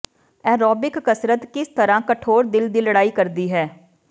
aerobic ਕਸਰਤ ਕਿਸ ਤਰ੍ਹਾਂ ਕਠੋਰ ਦਿਲ ਦੀ ਲੜਾਈ ਕਰਦੀ ਹੈ